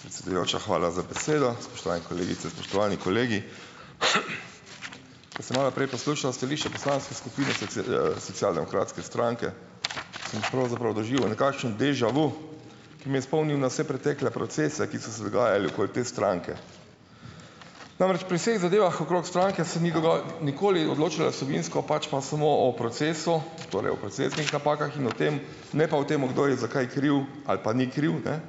Predsedujoča, hvala za besedo. Spoštovani kolegice, spoštovani kolegi! Ko sem malo prej poslušal stališče poslanske skupine socialdemokratske stranke sem pravzaprav doživel nekakšen déjà vu, ki me je spomnil na vse pretekle procese, ki so se dogajali okoli te stranke. Namreč pri vseh zadevah okrog stranke se ni nikoli odločalo vsebinsko, pač pa samo o procesu, torej o procesnih napakah in o tem - ne pa o tem, kdo je za kaj kriv ali pa ni kriv, ne.